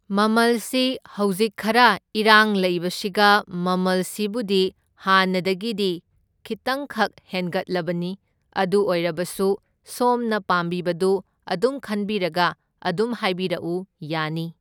ꯃꯃꯜꯁꯤ ꯍꯧꯖꯤꯛ ꯈꯔ ꯏꯔꯥꯡ ꯂꯩꯕꯁꯤꯒ ꯃꯃꯜꯁꯤꯕꯨꯗꯤ ꯍꯥꯟꯅꯗꯒꯤꯗꯤ ꯈꯤꯇꯪꯈꯛ ꯍꯦꯟꯒꯠꯂꯕꯅꯤ, ꯑꯗꯨ ꯑꯣꯏꯔꯕꯁꯨ ꯁꯣꯝꯅ ꯄꯥꯝꯕꯤꯕꯗꯨ ꯑꯗꯨꯝ ꯈꯟꯕꯤꯔꯒ ꯑꯗꯨꯝ ꯍꯥꯏꯕꯤꯔꯛꯎ ꯌꯥꯅꯤ꯫